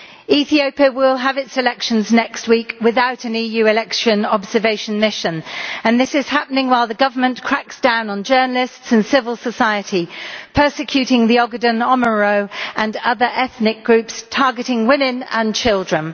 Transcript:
Ethiopia will have its elections next week without an EU election observation mission, and this is happening while the government cracks down on journalists and civil society and persecutes the Ogaden Oromo and other ethnic groups, targeting women and children.